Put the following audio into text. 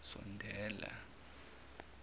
sondela